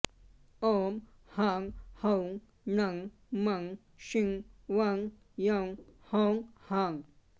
ॐ हां हौं नं मं शिं वं यं हौं हां